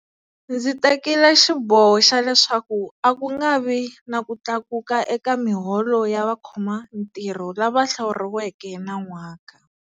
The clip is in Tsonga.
Ndzi tekile xiboho xa leswaku a ku nga vi na ku tlakuka eka miholo ya vakhomantirho lava hlawuriweke nan'waka.